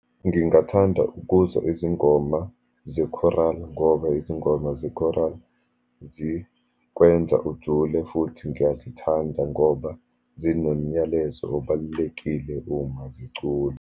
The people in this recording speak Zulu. Ngingathanda ukuzwa izingoma ze-choral, ngoba izingoma ze-choral zikwenza ujule, futhi ngiyazithanda ngoba zinomnyalezo obalulekile uma ziculwa.